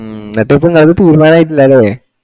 ഹമ്മ് അപ്പൊ ഇപ്പൊ നിങ്ങളത് തീർമാനായിട്ടില്ലലേ